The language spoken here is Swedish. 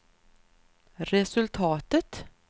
resultatet